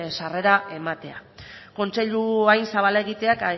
sarrera ematea kontseilu hain zabala egiteak